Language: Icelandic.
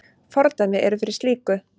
Fordæmi eru fyrir slíku.